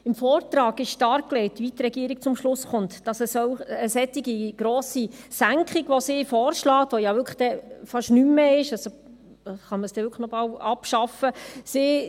Im Vortrag wurde dargelegt, weshalb die Regierung zum Schluss kommt, dass sie eine solch grosse Senkung vorschlägt, welche ja dann wirklich fast nichts mehr ist, sodass man sie wirklich fast abschaffen könnte.